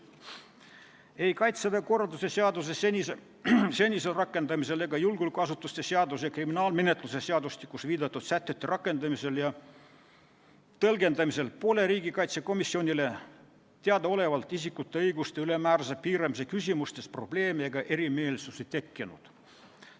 Ei Kaitseväe korralduse seaduse senisel rakendamisel ega julgeolekuasutuste seaduses ja kriminaalmenetluse seadustikus viidatud sätete rakendamisel ja tõlgendamisel pole riigikaitsekomisjonile teadaolevalt isikute õiguste ülemäärase piiramise küsimustes probleeme ega erimeelsusi tekkinud.